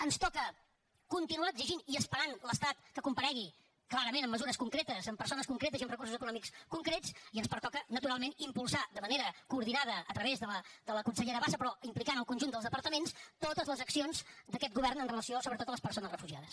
ens toca continuar exigint i esperant l’estat que comparegui clarament amb mesures concretes amb persones concretes i amb recursos econòmics concrets i ens pertoca naturalment impulsar de manera coordinada a través de la consellera bassa però implicant el conjunt dels departaments totes les accions d’aquest govern amb relació sobretot a les persones refugiades